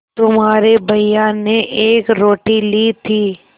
तुम्हारे भैया ने एक रोटी ली थी